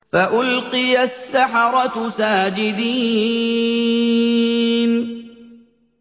فَأُلْقِيَ السَّحَرَةُ سَاجِدِينَ